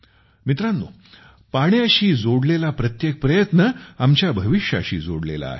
मित्रानो पाण्याशी जोडलेला प्रत्येक प्रयत्न आमच्या भविष्याशी जोडलेला आहे